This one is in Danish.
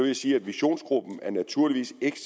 jeg sige at visionsgruppen naturligvis ikke